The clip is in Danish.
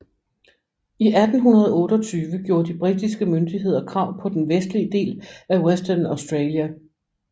I 1828 gjorde de britiske myndigheder krav på den vestlige del af Western Australia